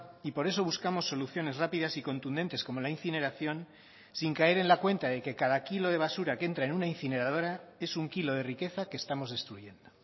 y por eso buscamos soluciones rápidas y contundentes como la incineración sin caer en la cuenta de que cada kilo de basura que entra en una incineradora es un kilo de riqueza que estamos destruyendo